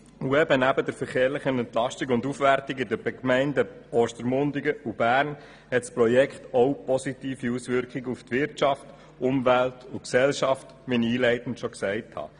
Neben der Entlastung und Aufwertung des Verkehrs in den Gemeinden Ostermundigen und Bern hat das Projekt auch positive Auswirkungen auf Wirtschaft, Umwelt und Gesellschaft, wie ich einleitend erwähnt habe.